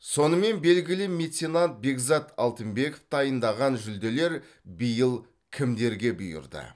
сонымен белгілі меценат бекзат алтынбеков дайындаған жүлделер биыл кімдерге бұйырды